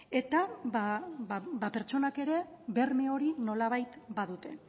eta pertsonak ere berme hori nolabait badute